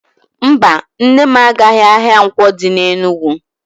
Mba, Nne m agaghị ahia Nkwo di na Enugwu.